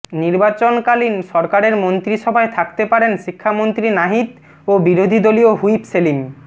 নির্বাচনকালীন সরকারের মন্ত্রীসভায় থাকতে পারেন শিক্ষামন্ত্রী নাহিদ ও বিরোধীদলীয় হুইপ সেলিম